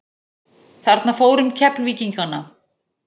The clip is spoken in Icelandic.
Þarna fór um Keflvíkingana.